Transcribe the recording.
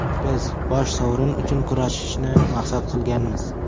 Biz bosh sovrin uchun kurashishni maqsad qilganmiz.